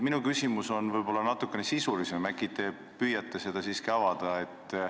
Minu küsimus on aga natukene sisulisem, äkki te siiski püüate seda avada.